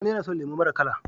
Sani yAna son lemo mara kala